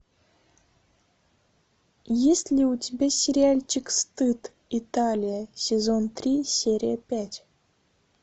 есть ли у тебя сериальчик стыд италия сезон три серия пять